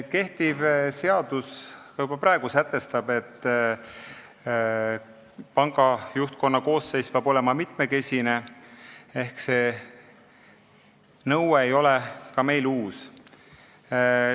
Kehtiv seadus sätestab juba praegu, et panga juhtkonna koosseis peab olema mitmekesine, ehk see nõue ei ole ka meil uus.